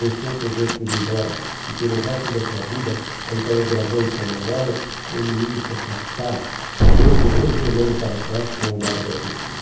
Deixou Tedesco ir embora e pelo resto da sua vida, Antônio gravou em sua memória o inimigo se afastar, vez o outro olhando para trás com um olhar agradecido.